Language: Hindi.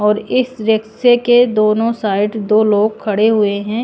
और इस रिक्शे के दोनों साइड दो लोग खड़े हुए हैं।